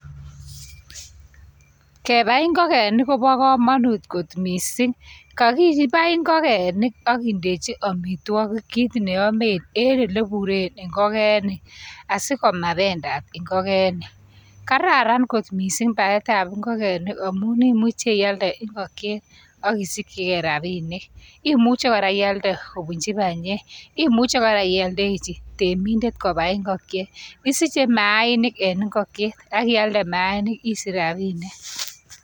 Kebai ingokenik kobo komanut kot mising. Kakibai ingokenik ak kindechi amitwagik kit neamen en ole ipuren ingokenik, asi komapendat ingokenik. Kararan kot mising, paetab ingokenik amun imuche ialde ingokchet ak inyorchigei rabinik. Imuche kora ialde kopunchi panyek, imuche kora ialdechi temindet kopai. Isiche maainik en ingokchetak ialde maainik isich rabinik.